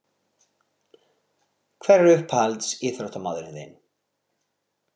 Hver er uppáhalds ÍÞRÓTTAMAÐURINN þinn?